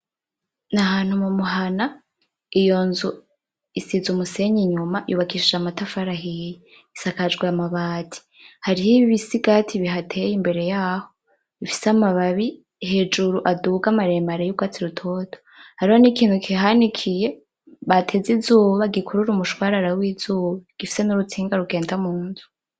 N'ahantu mumuhana, iyo nzu isize umusenyi inyuma, yubakishije amatafari ahiye. Isakajwe amabati. Hariho ibisigati bihateye imbere yaho bifise amababi hejuru aduga maremare yurwatsi rutoto. Hariho nikintu kihanikiye, bateze izuba gikurura umushwarara wizuba, gifise nurutsinga rugenda munzu.